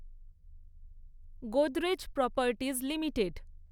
Godrej Properties limited